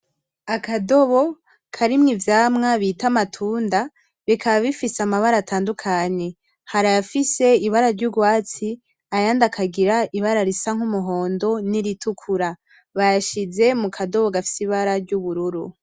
Akadobo karimwo ivyamwa bita amatunda bikaba bifise amabara atandukanye, hari ayafise ibara ry'urwatsi ayandi akagira ibara risa nk'umuhondo n'iritukura, bayashize mu kadobo gafise ibara ry'ubururu.